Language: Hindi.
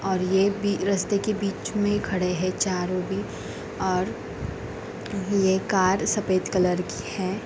और ये भी रस्ते के बीच में खड़े है चारों भी और ये कार सफेद कलर की है।